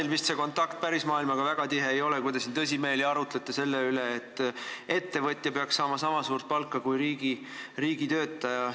Ega teil see kontakt pärismaailmaga vist väga tihe ei ole, kui te siin tõsimeeli arutate selle üle, et ettevõtja peaks saama niisama suurt palka kui riigitöötaja.